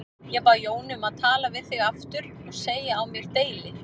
Ég bað Jónu um að tala við þig aftur og segja á mér deili.